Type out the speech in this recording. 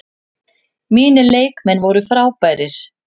Mínir leikmenn voru frábærir.